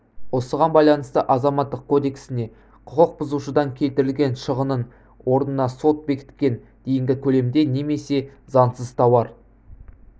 осыған байланысты азаматтық кодексіне құқық бұзушыдан келтірілген шығынның орнына сот бекіткен дейінгі көлемде немесе заңсыз тауар